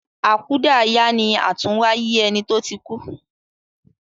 Akudaya ni àtúnwáyé eni to tí kú